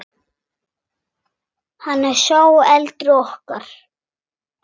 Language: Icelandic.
Hann er sá eldri okkar.